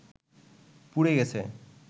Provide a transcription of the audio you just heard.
পুড়ে গেছে